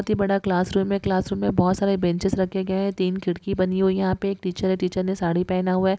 बोहत ही बड़ा क्लासरूम है बोहत सारे बेंचेस रखे गए है तीन खिड़की बनी हुई है यहाँपे एक टीचर है टीचर ने साड़ी पहना हुआ है।